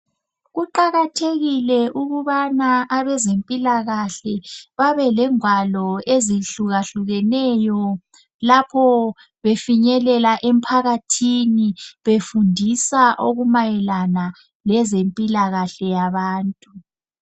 Kuqakathekile ukubana abezempilakahle babelengwalo ezihlukahlukeneyo lapho befinyelela emphakathini befundisa okumayelana lezempilakahle yabantu.